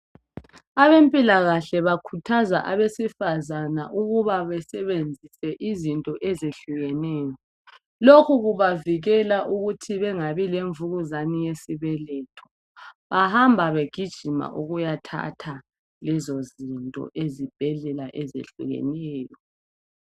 Abempilakahle bakhuthaza abesifazana ukuba besebenzise izinto ezehlukeneyo. Lokhu kubavikela ukuthi bengabi lemvukuzani yesibeletho. Bahamba begijima ukuyathatha lezozinto ezibhedlela ezehlukeneyo.